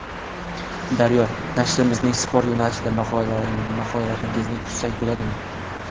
Daryo: Nashrimizning sport yo‘nalishida maqolalaringizni kutsak bo‘ladimi?